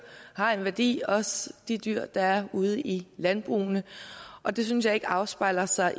har en værdi også de dyr der er ude i landbrugene og det synes jeg ikke afspejler sig